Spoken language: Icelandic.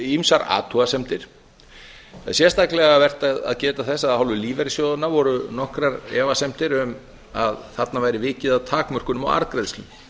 ýmsar athugasemdir það er sérstaklega vert að geta þess að af hálfu lífeyrissjóðanna voru nokkrar efasemdir um að þarna væri vikið að takmörkunum á arðgreiðslum